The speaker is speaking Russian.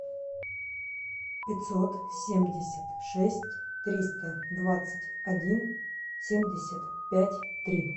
пятьсот семьдесят шесть триста двадцать один семьдесят пять три